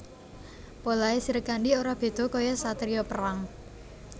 Polahe Srikandhi ora beda kaya satriya perang